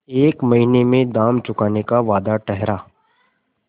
एक महीने में दाम चुकाने का वादा ठहरा